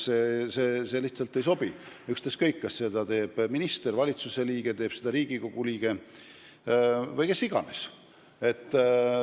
See lihtsalt ei sobi, ükskõik, kas seda teeb minister, valitsuse või Riigikogu liige või kes iganes.